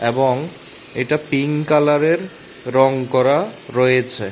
এবং এটা পিঙ্ক কালারের রং করা রয়েছে।